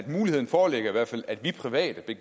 muligheden foreligger i hvert fald at vi private